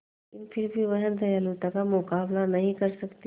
लेकिन फिर भी वह दयालुता का मुकाबला नहीं कर सकती